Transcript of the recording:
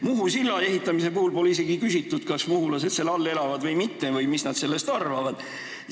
Muhu silla ehitamise puhul pole isegi küsitud, kas muhulased seal elavad või mitte või mis nad sellest arvavad.